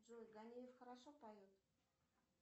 джой ганеев хорошо поет